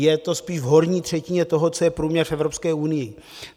Je to spíš v horní třetině toho, co je průměr v Evropské unii.